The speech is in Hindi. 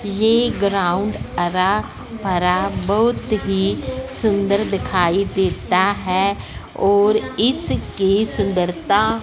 ये ग्राउंड हरा भरा बहुत ही सुंदर दिखाई देता है और इसकी सुंदरता--